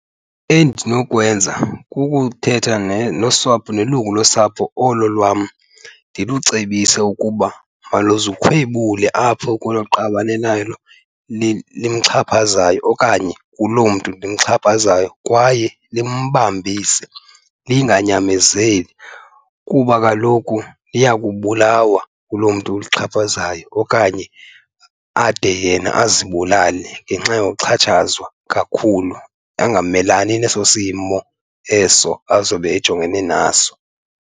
Endinokwenza kukuthetha nosapho, nelungu losapho olo lwam, ndimcebise ukuba maluzikhwebule apho kwelo qabane lalo limxhaphazayo okanye kuloo mntu limxhaphazayo. Kwaye limbambise linganyamezeli kuba kaloku liya kubulawa nguloo mntu ulixhaphazayo, okanye ade yena azibulale ngenxa yoxhatshazwa kakhulu, angamelani neso simo eso azobe ejongene naso.